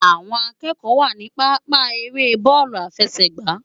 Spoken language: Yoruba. Awòn ákëkò wá ni pàpá ëré bòlú áfèsè gbá